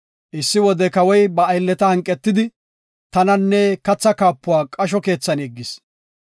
Issi wode Kawoy ba aylleta hanqetidi, tananne kathaa kaapuwa qasho keethan yeggis.